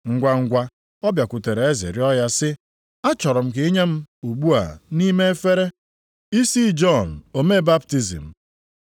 Ngwangwa, ọ bịakwutere eze rịọ ya sị, “Achọrọ m ka i nye m, ugbu a, nʼime efere, isi Jọn omee baptizim.”